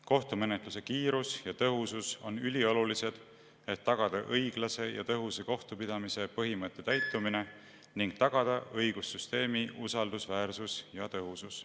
Kohtumenetluse kiirus ja tõhusus on üliolulised, et tagada õiglase ja tõhusa kohtupidamise põhimõtte täitumine ning tagada õigussüsteemi usaldusväärsus ja tõhusus.